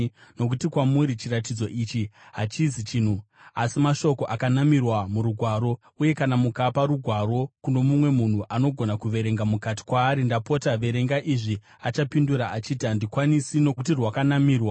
Nokuti kwamuri, chiratidzo ichi hachizi chinhu asi mashoko akanamirwa murugwaro. Uye kana mukapa rugwaro kuno mumwe munhu anogona kuverenga, mukati kwaari, “Ndapota, verenga izvi,” achapindura achiti, “Handikwanisi, nokuti rwakanamirwa.”